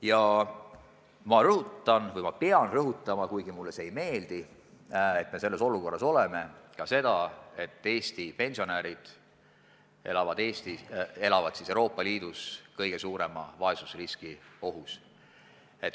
Ma pean rõhutama ka seda – kuigi mulle ei meeldi, et me selles olukorras oleme –, et Eesti pensionärid elavad Euroopa Liidus kõige suurema vaesusriski ohus.